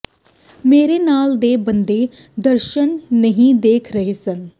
ਮੇਰੇ ਨਾਲ ਦੇ ਬੰਦੇ ਦਰਸ਼ਨ ਨਹੀਂ ਦੇਖ ਰਹੇ ਸਨ